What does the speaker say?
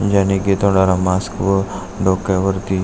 ज्याने की तोंडाला मास्क व डोक्यावरती--